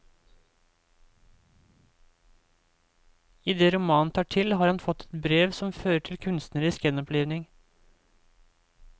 Idet romanen tar til har han fått et brev som fører til kunstnerisk gjenopplivning.